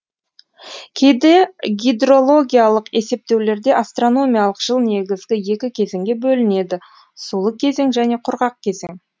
кейде гидрологиялық есептеулерде астрономиялық жыл негізгі екі кезеңге бөлінеді сулы кезең және құрғақ кезең